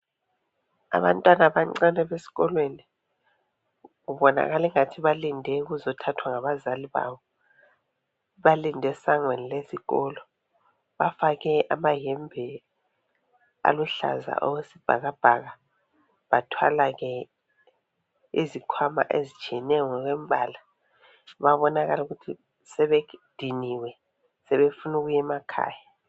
Abantwana abancane besikolweni. Kubonakala engathi balinde ukuzothathwa ngabazali babo. Balinde esangweni lezikolo. Bafake amayembe aluhlaza okwesibhakabhaka bathwala ke izikhwama ezitshiyeneyo ngokwembala. Bayabonakala ukuthi sebediniwe sebefunu kuyemakhaya.